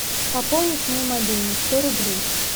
пополнить мой мобильный сто рублей